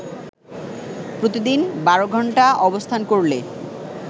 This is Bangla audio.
প্রতিদিন বারো ঘন্টা অবস্থান করলে